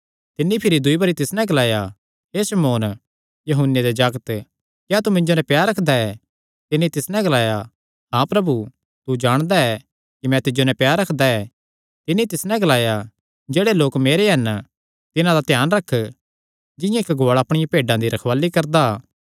तिन्नी भिरी दूई बरी तिस नैं ग्लाया हे शमौन यूहन्ने दे जागत क्या तू मिन्जो नैं प्यार रखदा ऐ तिन्नी तिस नैं ग्लाया हाँ प्रभु तू तां जाणदा ऐ कि मैं तिज्जो नैं प्यार रखदा ऐ तिन्नी तिस नैं ग्लाया जेह्ड़े लोक मेरे हन तिन्हां दा ध्यान रख जिंआं इक्क गुआल़ा अपणियां भेड्डां दी रखवाल़ी करदा